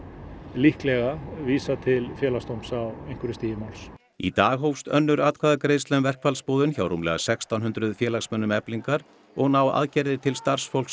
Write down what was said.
líklega vísað til Félagsdóms á einhverju stigi máls í dag hófst önnur atkvæðagreiðsla um verkfallsboðun hjá rúmlega sextán hundruð félagsmönnum Eflingar og ná aðgerðirnar til starfsfólks